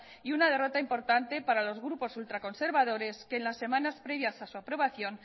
y una derrota importante para los grupos ultra conservadores que en las semanas previas a su aprobación